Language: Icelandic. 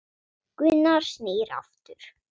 Gunnar snýr aftur.